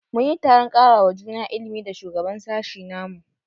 Mun yi taron karawa juna ilimi da shugaban sashi na mu.